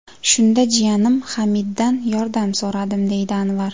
Shunda jiyanim Hamiddan yordam so‘radim”, deydi Anvar.